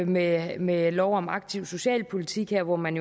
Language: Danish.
med med lov om aktiv socialpolitik her hvor man